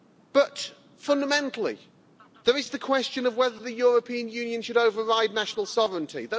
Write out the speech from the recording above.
But fundamentally, there is the question of whether the European Union should override national sovereignty.